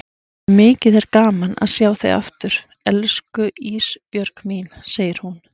Mikið er gaman að sjá þig aftur elsku Ísbjörg mín, segir hún.